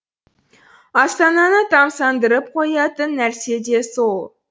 астананы тамсандырып қоятын нәрсе де сол